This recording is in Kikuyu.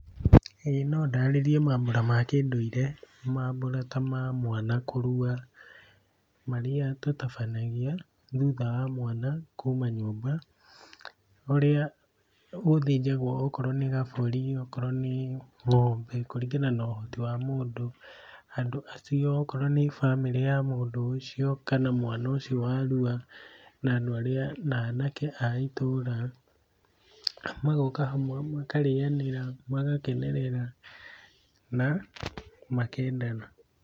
Ĩĩ no ndarĩrie mambũra ma kĩndũire, mambũra ta ma mwana kũrua, marĩa tũtabanagia thutha wa mwana kuma nyũmba ũrĩa gũthĩnjagwo okorwo nĩ gabũri, okorwo nĩ ng'ombe kũringana na ũhoti wa mũndũ, andũ acio akorwo nĩ bamĩrĩ ya mũndũ ũcio kana mwana ũcio warua, na andũ arĩa na anake a itũra, magoka hamwe makarĩanĩra, magakenerera na makendana.